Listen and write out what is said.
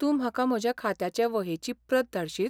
तूं म्हाका म्हज्या खात्याचे वहेची प्रत धाडशीत?